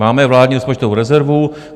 Máme vládní rozpočtovou rezervu.